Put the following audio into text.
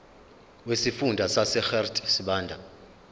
wesifunda sasegert sibande